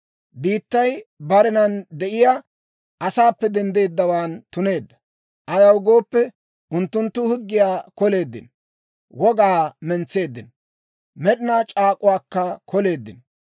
Biittay barenan de'iyaa asaappe denddeeddawaan tuneedda. Ayaw gooppe, unttunttu higgiyaa koleeddino; wogaa mentseeddino; med'inaa c'aak'uwaakka koleeddino.